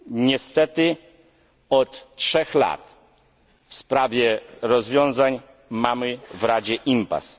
Niestety od 3 lat w sprawie rozwiązań mamy w Radzie impas.